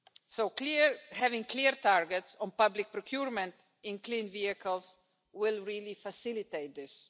So having clear targets on public procurement in clean vehicles will really facilitate this.